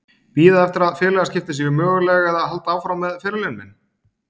Bíða eftir að félagaskipti séu möguleg eða halda áfram með ferilinn minn?